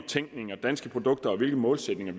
tænkning og danske produkter og hvilke målsætninger